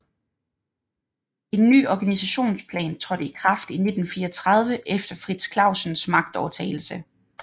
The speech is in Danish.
En ny organisationsplan trådte i kraft i 1934 efter Frits Clausens magtovertagelse